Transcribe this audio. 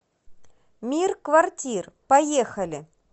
мир квартир поехали